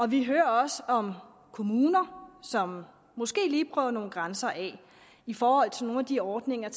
vi hører også om kommuner som måske lige prøver nogle grænser af i forhold til nogle af de ordninger